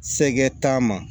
Sɛgɛn t'a ma